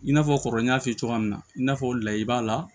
I n'a fɔ kɔrɔ n y'a f'i ye cogoya min na i n'a fɔ layi b'a la